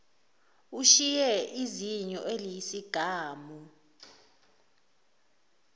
ushiye izinyo eliyisigamu